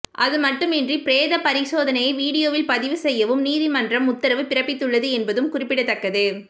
அதுமட்டுமின்றி பிரேத பரிசோதனையை வீடியோவில் பதிவு செய்யவும் நீதிமன்றம் உத்தரவு பிறப்பித்துள்ளது என்பதும் குறிப்பிடத்தக்கது